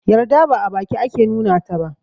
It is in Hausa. Yarda ba a baki ake nuna taba